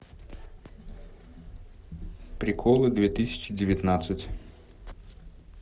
приколы две тысячи девятнадцать